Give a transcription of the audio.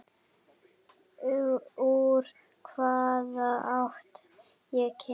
Úr hvaða átt ég kem.